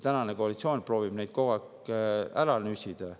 Tänane koalitsioon proovib neid küll kogu aeg ära nüsida.